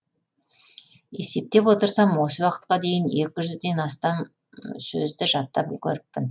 есептеп отырсам осы уақытқа дейін екі жүзден астам сөзді жаттап үлгеріппін